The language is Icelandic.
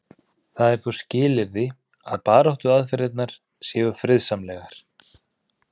það er þó skilyrði að baráttuaðferðirnar séu friðsamlegar